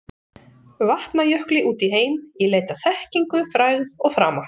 Vatnajökli út í heim í leit að þekkingu, frægð og frama.